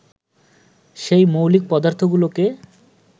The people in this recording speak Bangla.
সেই মৌলিক পদার্থগুলোকে